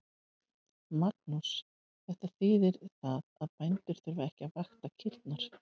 Magnús: Þetta þýðir það að bændur þurfa ekki að vakta kýrnar?